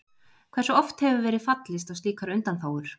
Hversu oft hefur verið fallist á slíkar undanþágur?